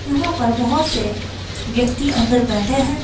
यहां पर बहुत से व्यक्ति अंदर बैठे हैं।